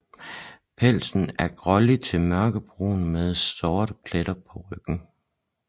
Pelsen er grålig til mørkebrun med sorte pletter på ryggen